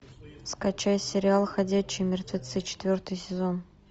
скачай сериал ходячие мертвецы четвертый сезон